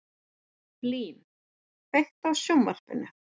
Blín, kveiktu á sjónvarpinu.